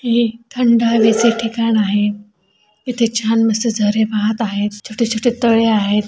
हे थंड हवेचे ठिकाण आहे. इथे छान मस्त झरे वाहत आहेत. छोटे छोटे तळे आहेत.